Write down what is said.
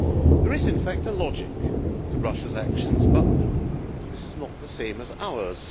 There is in fact a logic to Russia's actions, but this is not the same as ours.